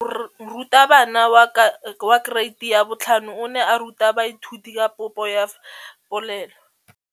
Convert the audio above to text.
Moratabana wa kereiti ya 5 o ne a ruta baithuti ka popô ya polelô.